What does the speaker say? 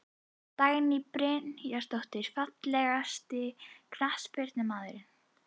Dagný Brynjarsdóttir Fallegasti knattspyrnumaðurinn?